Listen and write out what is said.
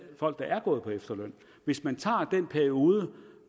folk der er gået på efterløn hvis man tager den periode